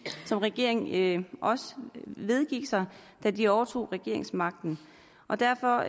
som regeringen også vedgik da de overtog regeringsmagten og derfor